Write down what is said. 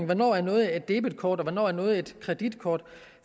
hvornår noget er et debetkort og hvornår noget er et kreditkort